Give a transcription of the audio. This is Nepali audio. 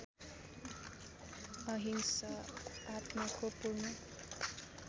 अहिंसा आत्माको पूर्ण